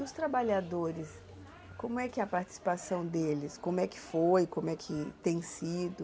E os trabalhadores, como é que a participação deles, como é que foi, como é que tem sido?